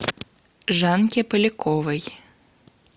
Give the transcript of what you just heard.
жанке поляковой